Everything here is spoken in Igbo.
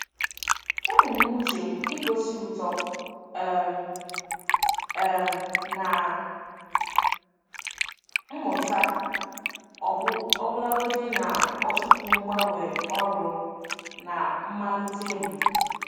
Ebumnuche m igosi uto um um na mmụta ọbụlagodi na ọtụtụ mgbanwe ọrụ na mmalite m.